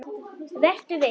Vertu viss.